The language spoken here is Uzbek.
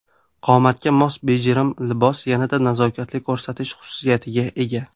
Qomatga mos bejirim libos yanada nazokatli ko‘rsatish xususiyatiga ega.